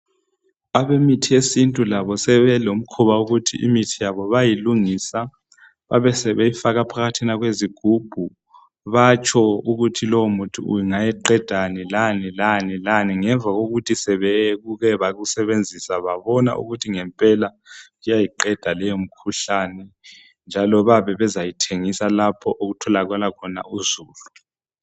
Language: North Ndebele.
Abemithi yesintu labo sebelomkhuba imithi yabo bayayilungisa babe sebeyifaka phakathi kwezigubhu batsho ukuthi lo muthi ungaqedani lani lani ngemva kokuthi sebeke bakusebenzisa babona ukuthi ngempela kuyayiqeda leyo mkhuhlane njalo bayabe bezayithengisa lapho okutholakala uzulu.